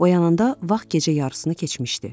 Oyananda vaxt gecə yarısını keçmişdi.